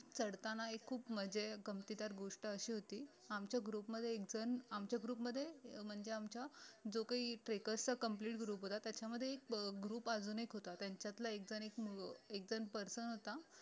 चढताना एक खूप म्हणजे गंमतीदार गोष्ट अशी होती आमच्या group मध्ये एक जण आमच्या group मध्ये म्हणजे आमच्या जो काही trackers चा complete group होता त्याच्यामध्ये group अजून एक होता त्यांच्यांतला एकजण एक एकजण person होता